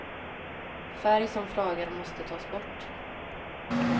Färg som flagar måste tas bort.